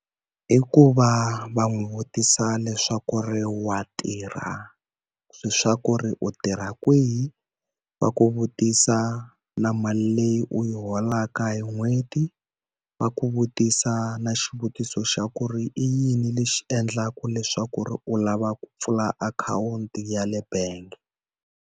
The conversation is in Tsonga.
I ku va va n'wi vutisa leswaku ri wa tirha? Leswaku ri u tirha kwihi? Va ku vutisa na mali leyi u yi holaka hi n'hweti, va ku vutisa na xivutiso xa ku ri i yini lexi endlaka leswaku ri u lava ku pfula akhawunti ya le bangi?